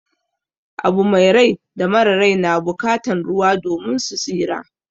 Abu mai rai da mara rai na bukatan ruwa domin su tsira.